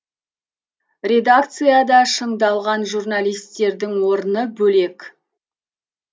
редакцияда шыңдалған журналистердің орны бөлек